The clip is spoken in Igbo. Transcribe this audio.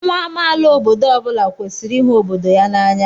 Nwa amaala obodo ọ bụla kwesịrị ịhụ obodo ya n'anya.